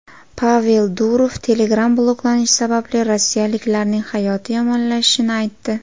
Pavel Durov Telegram bloklanishi sababli rossiyaliklarning hayoti yomonlashishini aytdi.